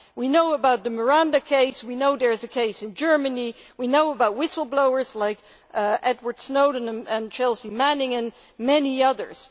We know about the Miranda case, we know there is a case in Germany, we know about whistleblowers like Edward Snowden and Chelsea Manning, and many others.